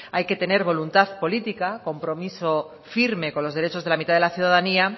hay que tener voluntad política compromiso firme con los derechos de la mitad de la ciudadanía